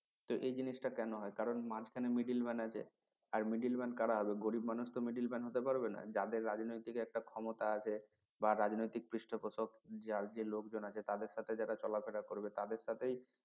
তো এই জিনিস টা কেন হয় কারন মাঝখানে middle man আছে আর middle man করা হবে গরিব মানুষ তো middle man হতে পারবেনা যাদের রাজনৈতিক একটা ক্ষমতা আছে বা রাজনৈতিক পৃষ্ঠপোষকঃ যার যে লোকজন আছে তাদের সাথে যারা চলা ফেরা করবে তাদের সাথেই